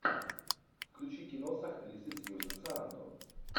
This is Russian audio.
включи кино с актрисой сьюзен сарандон